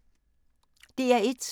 DR1